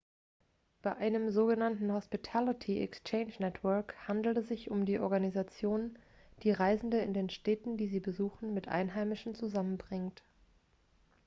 bei einem sogenannten hospitality exchange network handelt es sich um die organisation die reisende in den städten die sie besuchen mit einheimischen zusammenbringt